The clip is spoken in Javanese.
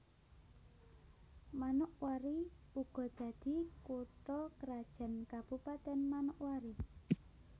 Manokwari uga dadi kutha krajan Kabupatèn Manokwari